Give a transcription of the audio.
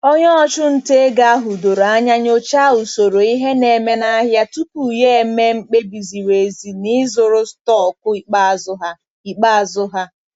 Onye ọchụnta ego ahụ doro anya nyochaa usoro ihe na-eme n'ahịa tupu ya eme mkpebi ziri ezi na ịzụrụ stọkụ ikpeazụ ha. ikpeazụ ha.